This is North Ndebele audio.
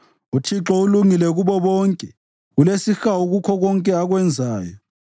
UThixo ulungile kubo bonke; ulesihawu kukho konke akwenzayo.